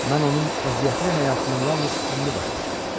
Mən onun əziyyətli həyatını yalnız indi başa düşürəm.